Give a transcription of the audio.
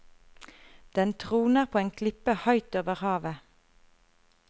Den troner på en klippe høyt over havet.